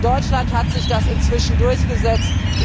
In Deutschland hat sich das inzwischen durchgesetzt.